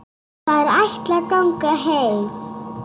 Þær ætla að ganga heim.